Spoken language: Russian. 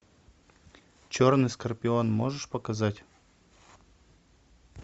черный скорпион можешь показать